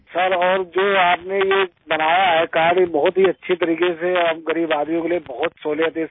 sir और जो आपने ये बनाया है कार्ड ये बहुत ही अच्छी तरीक़े से और हम गरीब आदमियों के लिए बहुत सहूलियत है इससे